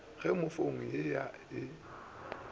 ge fomo ya a e